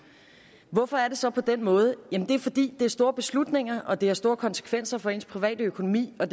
hvorfor er det så på den måde det er fordi det er store beslutninger og det har store konsekvenser for ens private økonomi og